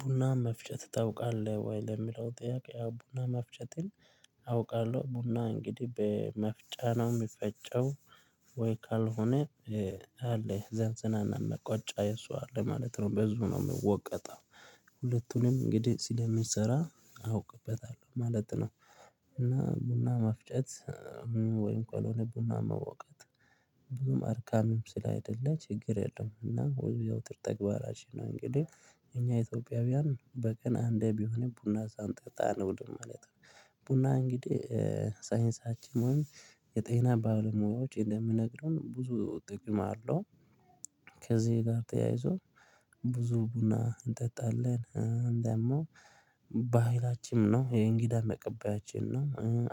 ቡና መፍጨት ታውቃለህ ወይ? ለሚለው ጥያቄ ያው ቡና መፍጨትን አውቃለሁ ቡና እንግዲህ በመፍጫ ነው የሚፈጨው ወይ ካልሆነ አለ ዘንዘናና ሙቀጫ የሱ አለ ማለት ነው በሱ ነው የምወቀጠው። ሁለቱንም እንግዲህ ስለምንሰራ አውቅበታለሁ ማለት ነው። እና ቡና መፍጨት ወይም ከልሆነ ቡና መውቀጥ ብዙም አድካሚም ስላይደለ ችግር የለም። እና የዘውትር ተግባራችን ነው እንግዲህ እኛ ኢትዮጵያውያን በቀን አንዴ ቢሆን ቡና ሳንጠጣ አንውልም ማለት ነው። ቡና እንግዲህ ሳይንሳችን ወይም የጤና ባለሙያዎች እንደሚነግሩን ብዙ ጥቅም አለው። ከዚህ ጋር ተያይዞ ብዙ ቡና እንጠጣለን ደግሞ ባህላችንም ነው የእንግዳ መቀበያችን ነው።